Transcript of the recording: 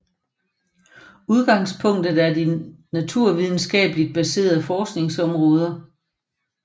Udgangspunktet er de naturvidenskabeligt baserede forskningsområder